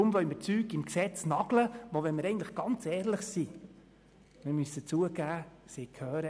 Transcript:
Deshalb wollen wir Dinge im Gesetz festnageln, die – wenn wir ganz ehrlich sind – in die Verordnung gehören.